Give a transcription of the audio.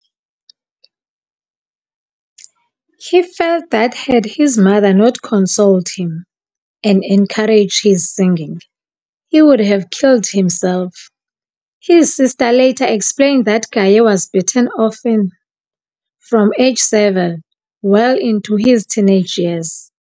He felt that had his mother not consoled him, and encouraged his singing, he would have killed himself. His sister later explained that Gaye was beaten often, from age seven well into his teenage years.